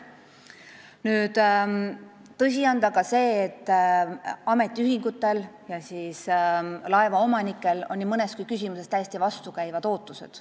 Tõsi on ka see, et ametiühingutel ja laevaomanikel on nii mõneski küsimuses täiesti vastukäivad ootused.